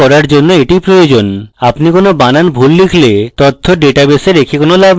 debug করার জন্য এটি করা প্রয়োজন আপনি হয়ত কোনো বানান ভুল লিখেছেন সেক্ষেত্রে ভুল বানানের তথ্য ডেটাবেসে রেখে কোনো লাভ নেই